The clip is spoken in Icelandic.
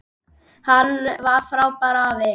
Hann var frábær afi.